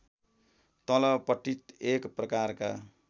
तलपट्टि एक प्रकारका